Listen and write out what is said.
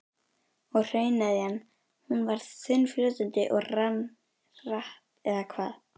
Og hrauneðjan, hún var þunnfljótandi og rann hratt eða hvað?